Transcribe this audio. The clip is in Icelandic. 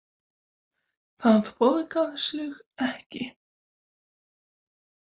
Það borgar sig ekki